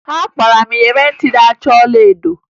Akpara m iyeri ntị na-acha ọlaedo